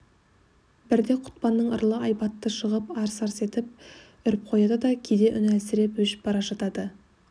бірде құтпанның ырылы айбатты шығып арс-арс етіп үріп қояды да кейде үні әлсіреп өшіп бара жатады